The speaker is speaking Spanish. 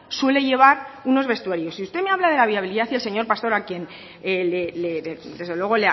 suele llevar unos vestuarios y usted me habla de la viabilidad y el señor pastor a quien desde luego